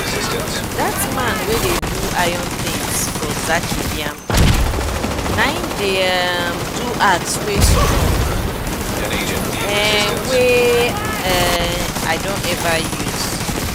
dat man wey dey do iron tins for zaki biam na em dey um do axe wey strong um wey um i don ever use.